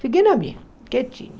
Fiquei na minha, quietinha.